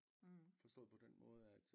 Forstået på den måde at